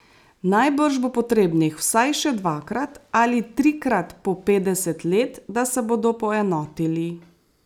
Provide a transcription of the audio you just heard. Najbrž bo potrebnih vsaj še dvakrat ali trikrat po petdeset let, da se bodo poenotili.